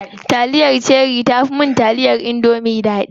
Taliyar cherie tafi mun taliyar indomie daɗi.